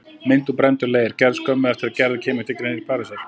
Mynd úr brenndum leir, gerð skömmu eftir að Gerður kemur til Parísar.